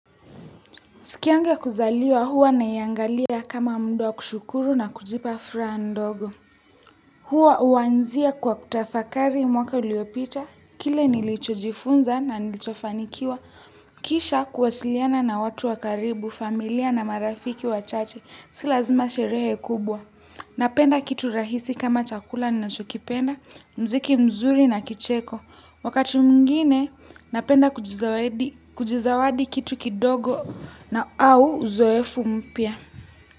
Siku yangu ya kuzaliwa huwa naiangalia kama muda wa kushukuru na kujipa furaha ndogo. Huwa uanzia kwa kutafakari mwaka uliopita, kile nilichojifunza na nilichofanikiwa. Kisha kuwasiliana na watu wa karibu familia na marafiki wachache si lazima sherehe kubwa napenda kitu rahisi kama chakula ninachokipenda, mziki mzuri na kicheko. Wakati mwngine napenda kujizawadi kitu kidogo na au uzoefu mpya.